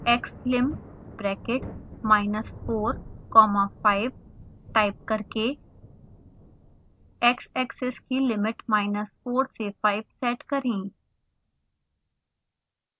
xlim inside the brackets minus 4 comma 5 type करके xaxis की limit minus 4 से 5 set करें